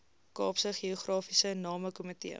kaapse geografiese namekomitee